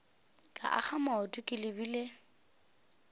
ka akga maoto ke lebile